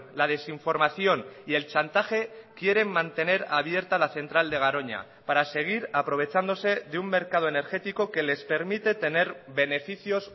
la desinformación y el chantaje quieren mantener abierta la central de garoña para seguir aprovechándose de un mercado energético que les permite tener beneficios